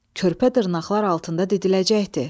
Körpə dırnaqlar altında didiləcəkdi.